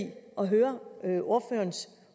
at høre ordførerens